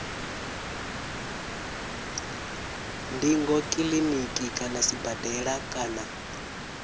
ndingo kiliniki kana sibadela kana